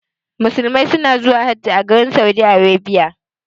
Muslimai na zuwa Hajj a garin Saudi.